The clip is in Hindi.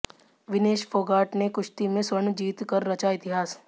विनेश फोगाट ने कुश्ती में स्वर्ण जीत कर रचा इतिहास